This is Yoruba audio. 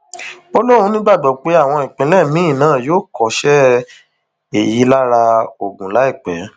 ó lóun nígbàgbọ pé àwọn ìpínlẹ míín náà yóò kọṣẹ èyí lára ogun láìpẹ